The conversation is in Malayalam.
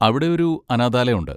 അവിടെയൊരു അനാഥാലയം ഉണ്ട്.